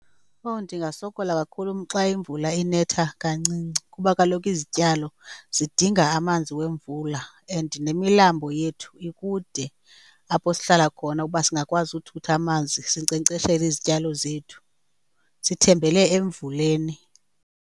Oh, ndingasokola kakhulu xa imvula inetha kancinci kuba kaloku izityalo zidinga amanzi wemvula and nemilambo yethu ikude apho sihlala khona ukuba singakwazi uthutha amanzi sinkcenkceshele izityalo zethu. Sithembele emvuleni.